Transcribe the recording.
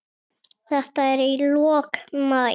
Þetta er í lok maí.